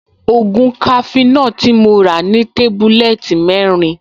Ògùn cafenor tí mo rà ní tébúlẹ́ẹ̀tì mẹ́rin